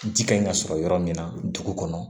Ji ka ɲi ka sɔrɔ yɔrɔ min na dugu kɔnɔ